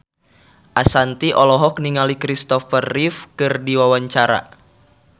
Ashanti olohok ningali Kristopher Reeve keur diwawancara